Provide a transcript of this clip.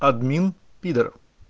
админ пидор